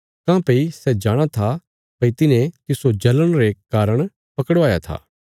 काँह्भई सै जाणाँ था भई तिन्हे तिस्सो जलण रे कारण पकड़वाया था